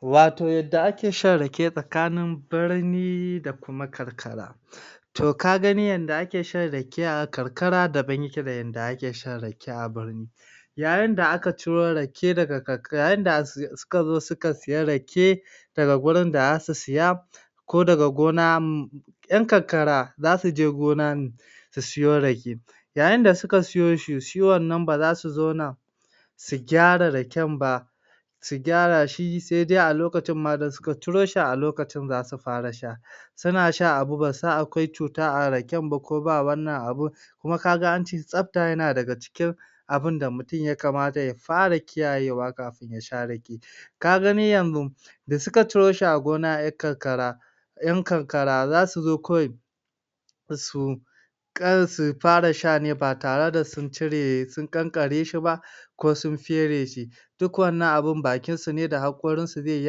Wato yadda ake shan Rake tsakanin birni da kuma kankara to ka gani yadda ake shan Rake a karkara daban yake da yadda ake shan Rake a birni yayin da aka ciro Rake kankara Yayi da asi Yayin da suka zo suka suyi Rake daga wurin da zasu siya ko daga gona, um Yan karkara zasuje gona ne su suyo rake yayin da suka suyi shi, shi wannan ba zasu zauna su gyara raken ba su gyara shi sai dai a lokacin ma da suka ciro shi a lokacin zasu fara sha suna shan abu basu san akwai cuta a raken ba ko ba wannan abun kuma kaga an ce tsafta yana daga cikin abinda mutum ya kamata ya fara kiyaye kafin yasha Rake ka gani yanzu da suka ciro shi a gona 'yar karkara Yan karkara zasu zo kawai su ƙal su fara sha ne ba tare da sun cire sun kankara shi ba ko sun fere shi duk wannan abun bakin su ne da hakorin su zai yi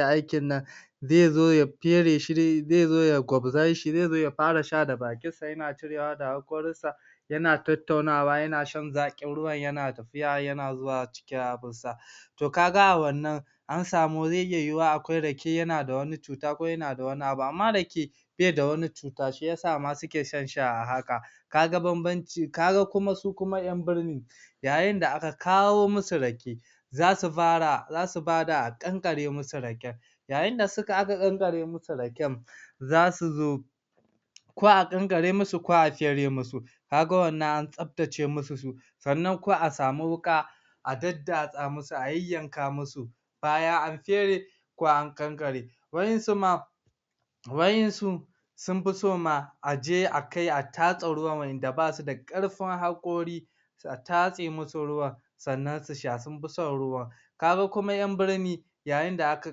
aikin nan zai zo ya fere shi, zai zo gwadze shi, zai zo ya fara sha da bakin sa, yana cirewa da hakorin sa yana tattaunawa yana shan zaƙin ruwan yana tafiya yana zuwa ciki abin sa to kaga a wannan an samu zai iya yiyuwa akwai Rake yana da da wani cuta ko yana da wani abu amma Rake baida wani cuta shiyasa suke shan shi a haka kaga bambanci, kaga su kuma yan birni yayin da aka kawo musu Rake zasu fara zasu bada a kankare musu Raken yayi da suka aka kankare musu Raken zasu zo ko a kankare musu ko a fere musu kaga wannan an tsaftace musu su sannan ko a sami Wuƙa a daddatsa musu, a yayyanka musu bayan an fere ko an kankare wayansu ma wayansu sunfi so ma aje akai a tatse ruwan waɗanda basu da karfin hakori sai a tatse musu ruwan sannan su sha sunfi son ruwan kaga kuma yan birni yayi da aka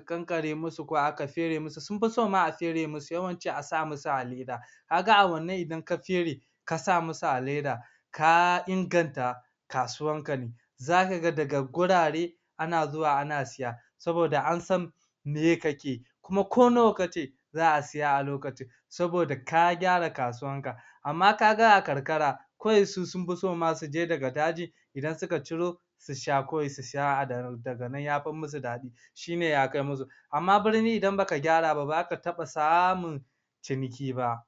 kankare musu ko aka fere musu, sunfi so ma a fere musu yawanci a sa musu a leda kaga a wannan idan ka fere kasa musu a leda ka inganta kasuwar ne zaka ga daga wurare ana zuwa ana siya saboda an san meye kake kuma ko nawa kace za'a siys a lokacin saboda ka gyara kasuwan ka amma kaga a kankara kawai su sunfi so ma sune daga daji idan suka ciro su sha kawai su sha Daga nan yafi musu daɗi shine ya kai musu amma birni idan baka gyara ba, ba zaka taɓa samun ciniki ba